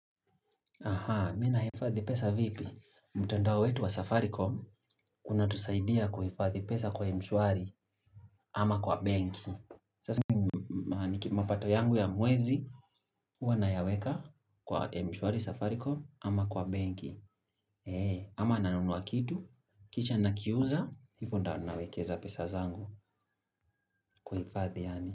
Mimi nahifadhi pesa vipi. Mtandao wetu wa safaricom, kuna tusaidia kuhifadhi pesa kwa mshwari ama kwa benki. Sasa, ni kimapato yangu ya mwezi, huwa na yaweka kwa mshwari safaricom ama kwa benki. ama nanunua kitu, kisha na kiuza, hivo ndio nawekeza pesa zangu kuhifadhi yaani.